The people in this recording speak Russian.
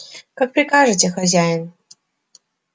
как прикажете хозяин